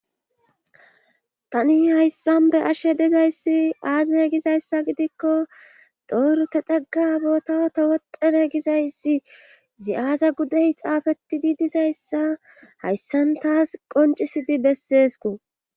tani hayssan be ashe dizayssi aazie gizayssa gidikko dooru te dheggabotao ta wodere gizayssi zi7aaza gudey xaafetidi dizayssa hayssan taas qoncisidi besseesku